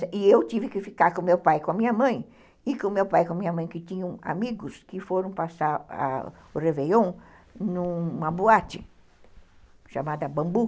E eu tive que ficar com o meu pai e com a minha mãe, e com o meu pai e com a minha mãe, que tinham amigos que foram passar o Réveillon numa boate chamada Bambu.